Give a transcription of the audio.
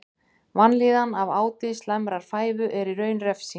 Vanlíðan af áti slæmrar fæðu er í raun refsing.